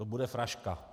To bude fraška.